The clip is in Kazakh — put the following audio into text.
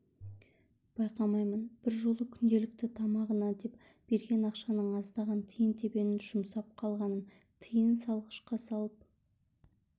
байқаймын бір жолы күнделікті тамағына деп берген ақшаның аздаған тиын-тебенін жұмсап қалғанын тиын салғышқа салып